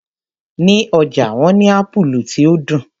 Ní ọjà wọ́n ní Ápúlú tí ó dùn.